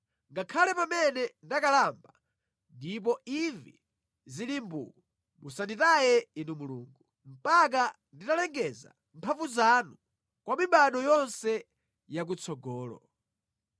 Ngakhale pamene ndakalamba ndipo imvi zili mbuu musanditaye Inu Mulungu, mpaka nditalengeza mphamvu zanu kwa mibado yonse yakutsogolo.